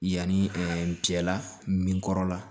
Yanni n cɛla min kɔrɔ la